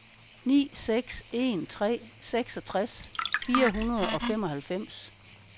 ni seks en tre seksogtres fire hundrede og femoghalvfems